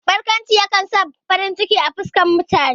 Barkwanci ya kan sa farin ciki a fuskan mutane.